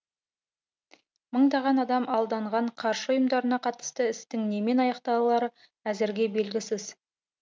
мыңдаған адам алданған қаржы ұйымдарына қатысты істің немен аяқталары әзірге белгісіз